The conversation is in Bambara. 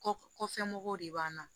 Kɔkɔ kɔfɛ de b'an na